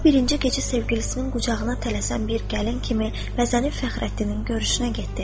O birinci gecə sevgilisinin qucağına tələsən bir gəlin kimi vəzini Fəxrəddinin görüşünə getdi.